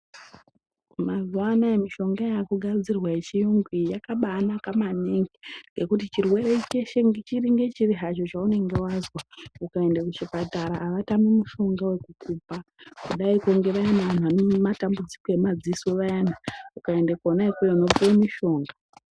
Mazuwa anaya mishonga yakugadzirwa yechiyungu iyi yakaba anaka maningi ngekuti chirwere cheshe chiri ngechiri hacho chaunenge wazwa ukaende kuchipatara avatami mushonga wekukupa kudaiko ngevayana vanhu vane matambudziko emadziso vayana ,ukaende kona ikweyo unopuwe mushonga.